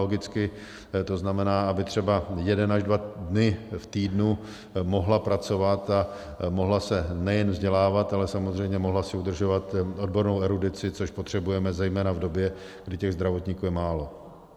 Logicky to znamená, aby třeba jeden až dva dny v týdnu mohla pracovat a mohla se nejen vzdělávat, ale samozřejmě mohla si udržovat odbornou erudici, což potřebujeme zejména v době, kdy těch zdravotníků je málo.